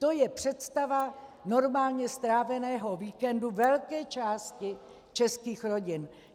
To je představa normálně stráveného víkendu velké části českých rodin.